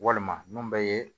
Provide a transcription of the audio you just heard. Walima mun bɛ ye